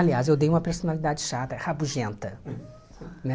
Aliás, eu dei uma personalidade chata, rabugenta, né.